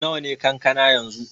Nawa ne kankana yanzu?